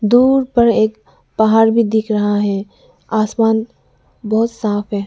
दूर पर एक पहाड़ भी दिख रहा है आसमान बहुत साफ है।